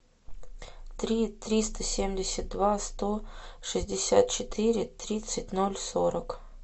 три триста семьдесят два сто шестьдесят четыре тридцать ноль сорок